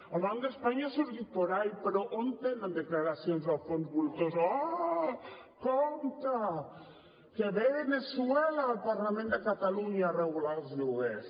el banc d’espanya ha sortit por ahí però on tenen declaracions dels fons voltor oh compte que ve veneçuela al parlament de catalunya a regular els lloguers